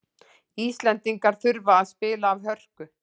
Íslendingar þurfa að spila af hörku